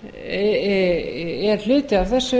og unglinga er hluti af þessu